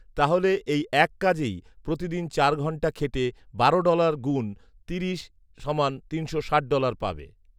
তাহলে এই এক কাজেই প্রতিদিন চার ঘন্টা খেটে বারো ডলার গুণ তিরিশ সমান তিনশো ষাট ডলার পাবে